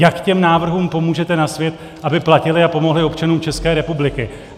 Jak těm návrhům pomůžete na svět, aby platily a pomohly občanům České republiky.